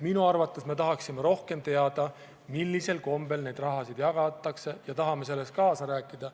Me tahaksime rohkem teada, millisel kombel neid summasid jagatakse, ja tahame selles kaasa rääkida.